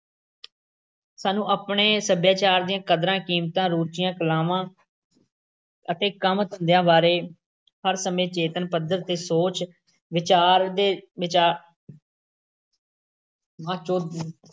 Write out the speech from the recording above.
ਸਾਨੂੰ ਆਪਣੇ ਸੱਭਿਆਚਾਰ ਦੀਆਂ ਕਦਰਾਂ-ਕੀਮਤਾਂ, ਰੁਚੀਆਂ, ਕਲਾਵਾਂ ਅਤੇ ਕੰਮ-ਧੰਦਿਆਂ ਬਾਰੇ ਹਰ ਸਮੇਂ ਚੇਤਨ ਪੱਧਰ ਤੇ ਸੋਚ-ਵਿਚਾਰਦੇ ਵਿਚਾਰ